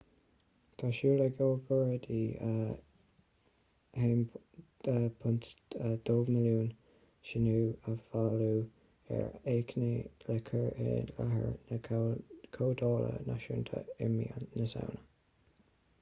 tá súil ag agóideoirí 1.2 milliún síniú a bhailiú ar achainí le cur i láthair na comhdhála náisiúnta i mí na samhna